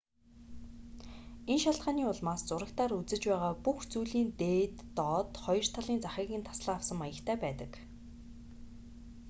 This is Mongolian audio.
энэ шалтгааны улмаас зурагтаар үзэж байгаа бүх зүйлийн дээд доод хоёр талын захыг нь таслан авсан маягтай байдаг